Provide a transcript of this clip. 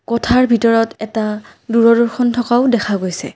কোঠাৰ ভিতৰত এটা দূৰদৰ্শন থকাও দেখা গৈছে।